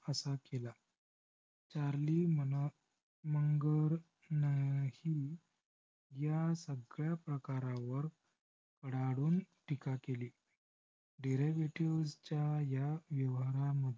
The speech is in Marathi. charlie mangarhil ह्या सगळ्या प्रकारावर राडून टीका केली. dervative च्या ह्या व्यवहारामध्ये